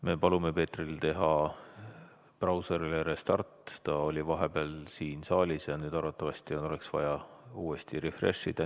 Me palume Peetril teha brauserile restart, ta oli vahepeal siin saalis ja nüüd arvatavasti oleks vaja uuesti värskendada.